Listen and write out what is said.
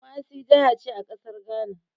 Kumasi jahace a ƙasar Ghana